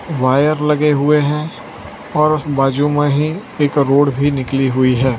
Wire लगे हुए हैं और उस बाजू में ही एक रोड भी निकली हुई है।